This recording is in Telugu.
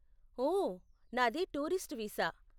ఓ, నాది టూరిస్ట్ వీసా.